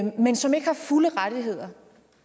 men som ikke har fulde rettigheder